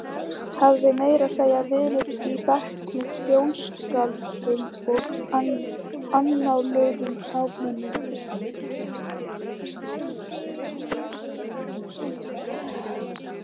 Hafði meira að segja verið í bekk með þjóðskáldum og annáluðum gáfumönnum.